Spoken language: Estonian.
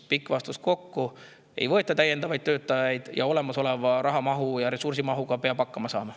Pikk vastus: ei võeta täiendavaid töötajaid, olemasoleva rahamahu ja ressursiga peab hakkama saama.